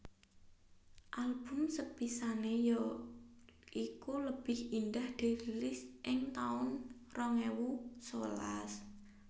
Album sepisané ya iku Lebih Indah dirilis ing taun rong ewu sewelas